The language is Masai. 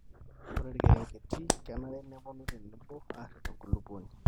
ore ilkerenketi kenare nepuonu tenebo aarip enkulupuoni